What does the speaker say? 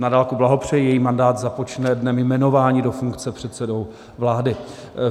Na dálku blahopřeji, její mandát započne dnem jmenování do funkce předsedou vlády.